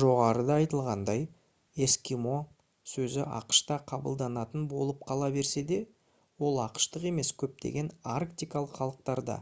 жоғарыда айтылғандай «эскимо» сөзі ақш-та қабылданатын болып қала берсе де ол ақш-тық емес көптеген арктикалық халықтарда